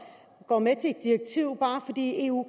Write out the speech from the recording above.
går med til et direktiv bare fordi eu